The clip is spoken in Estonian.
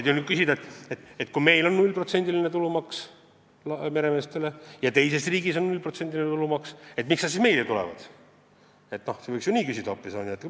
Võib muidugi küsida, et kui meil on 0%-line tulumaks meremeestele ja teistes riikides ka, siis miks peaks laevad meie lipu alla tulema.